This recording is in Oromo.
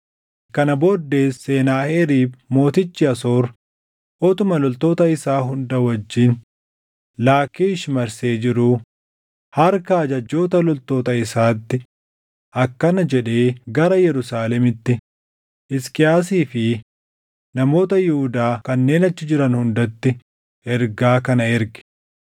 Kana booddees Senaaheriib mootichi Asoor utuma loltoota isaa hunda wajjin Laakkiish marsee jiruu, harka ajajjoota loltoota isaatti akkana jedhee gara Yerusaalemitti Hisqiyaasii fi namoota Yihuudaa kanneen achi jiran hundatti ergaa kana erge: